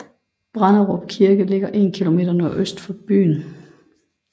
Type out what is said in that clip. Branderup Kirke ligger 1 km nordøst for byen